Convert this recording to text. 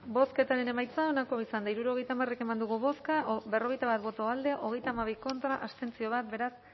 bozketaren emaitza onako izan da hirurogeita hamar eman dugu bozka berrogeita bat boto alde hogeita hamabi contra bat abstentzio beraz